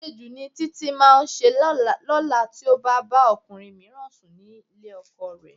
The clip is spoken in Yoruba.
Àṣejù ni Títí máa ṣe lọ́la tí ó bá bá ọkùnrin mìíràn sùn nílé ọkọ rẹ̀